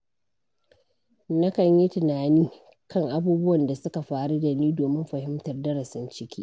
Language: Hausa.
Nakan yi tunani kan abubuwan da suka faru da ni domin fahimtar darasin ciki.